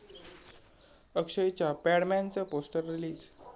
अक्षयच्या 'पॅडमॅन'चं poster release